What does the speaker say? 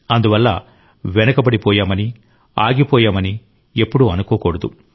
అందువల్ల వెనుకబడిపోయామని ఆగిపోయామని ఎప్పుడూ అనుకోకూడదు